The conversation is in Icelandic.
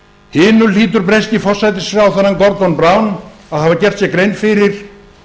hinu hlýtur breski forsætisráðherrann gordon brown að hafa gert sér grein fyrir